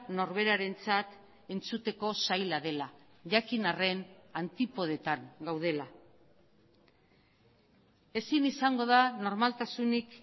norberarentzat entzuteko zaila dela jakin arren antipodetan gaudela ezin izango da normaltasunik